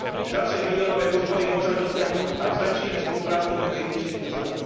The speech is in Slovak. Ďalšie miliónové úspory môžeme dosiahnuť, ak zlepšíme spoluprácu medzi inštitúciami.